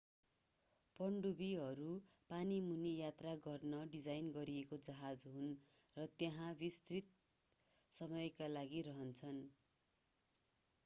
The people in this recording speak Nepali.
पनडुब्बीहरू पानीमुनि यात्रा गर्न डिजाइन गरिएका जहाज हुन् र त्यहाँ विस्तारित समयका लागि रहन्छन्